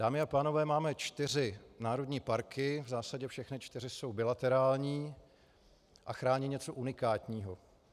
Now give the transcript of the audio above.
Dámy a pánové, máme čtyři národní parky, v zásadě všechny čtyři jsou bilaterální a chrání něco unikátního.